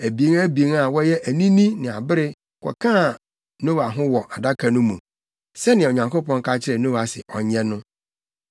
abien abien a wɔyɛ anini ne abere kɔkaa Noa ho wɔ adaka no mu, sɛnea Onyankopɔn ka kyerɛɛ Noa sɛ ɔnyɛ no.